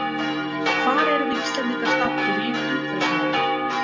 Hvar erum við Íslendingar staddir í umhverfismálum?